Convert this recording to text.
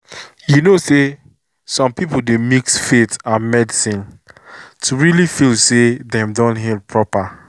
you know say some people dey mix faith and medicine to really feel say dem don heal proper.